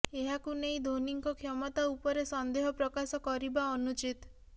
ଏହାକୁ ନେଇ ଧୋନୀଙ୍କ କ୍ଷମତା ଉପରେ ସନ୍ଦେହ ପ୍ରକାଶ କରିବା ଅନୁଚିତ